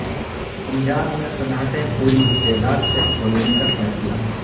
پنجاب میں صنعتیں پوری استعداد سے کھولنے کا فیصلہ